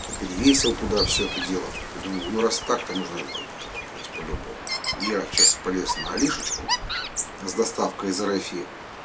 перевесил туда всё это дело и думаю ну раз так то можно и лампу покупать по любому и я сейчас полез на алишечку с доставкой из россии